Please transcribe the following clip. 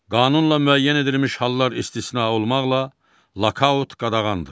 Qanunla müəyyən edilmiş hallar istisna olmaqla, lokaaut qadağandır.